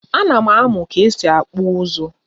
A nam amu bu ka esi akpụ ụzụ.